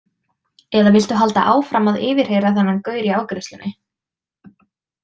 Eða viltu halda áfram að yfirheyra þennan gaur í afgreiðslunni?